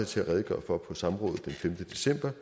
til at redegøre for på samrådet den femte december